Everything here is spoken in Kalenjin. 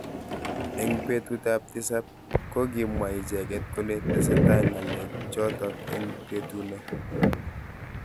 Eng betut ab tisab kokimwa icheket kole tesetai ngalek chotok eng betuno.